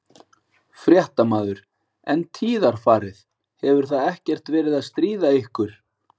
Fréttamaður: En tíðarfarið, hefur það ekkert verið að stríða ykkur?